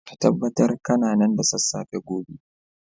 ka tabbata kana nan da sassafe gobe